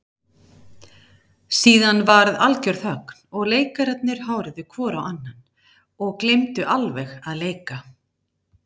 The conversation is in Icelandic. Síðan varð algjör þögn og leikararnir horfðu hvor á annan og gleymdu alveg að leika.